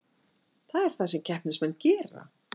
Það er það sem keppnismenn gera